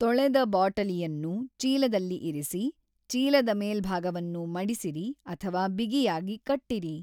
ತೊಳೆದ ಬಾಟಲಿಯನ್ನು ಚೀಲದಲ್ಲಿ ಇರಿಸಿ, ಚೀಲದ ಮೇಲ್ಭಾಗವನ್ನು ಮಡಿಸಿರಿ ಅಥವಾ ಬಿಗಿಯಾಗಿ ಕಟ್ಟಿರಿ.